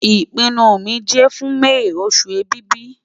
Ipinnu mi jẹ fun May osu Ẹ̀bìbì